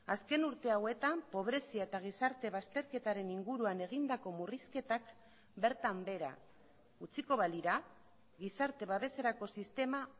azken urte hauetan pobrezia eta gizarte bazterketaren inguruan egindako murrizketak bertan behera utziko balira gizarte babeserako sistema